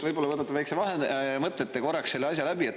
Võib-olla võtate väikse vaheaja ja mõtlete korraks selle asja läbi.